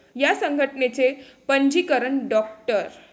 या संघटनेचे पंजीकरण डॉ.